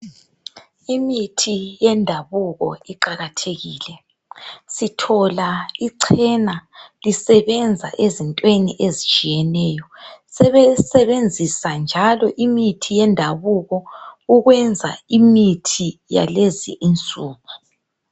Imithi yendabuko iqakathekile. Sithola ichena lisebenza ezintweni ezitshiyeneyo .Sebesebenzisa njalo imithi yendabuko ukwenza imithi yalezi insuku.